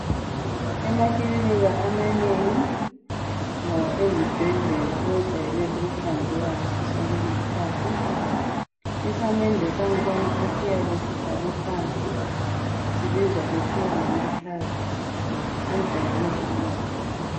Emakilinika amanengi la ezibhedlela kwejayele ukuhlanzeka ngaso sonke iskhathi. Isamende sangkhona esiyabe sifakwe phansi sibizwa kuthiwa ngamathaylz. Kwejayele ukuba kuhle.